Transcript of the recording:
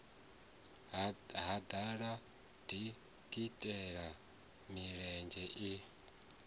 ha ḓala dikitela milenzhe i